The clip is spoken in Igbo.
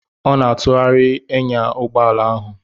Ọ na-atụgharị enya ụgbọ ala ahụ.